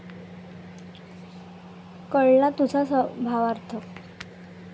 कळला तुझा भावार्थ!